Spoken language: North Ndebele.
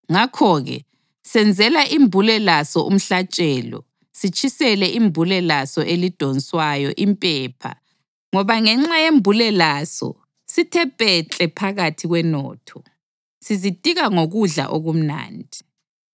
Ngakho-ke senzela imbule laso umhlatshelo, sitshisele imbule laso elidonswayo impepha ngoba ngenxa yembule laso sithe pekle phakathi kwenotho, sizitika ngokudla okumnandi.